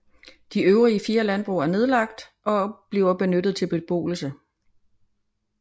De øvrige fire landbrug er nedlagt og bliver benyttet til beboelse